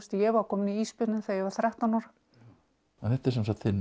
ég var komin í ísbjörninn þegar ég var þrettán ára þetta er sem sagt þinn